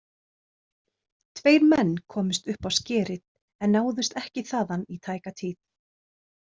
Tveir menn komust upp á skerið en náðust ekki þaðan í tæka tíð.